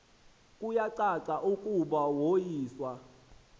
kuyacaca ukuba woyiswa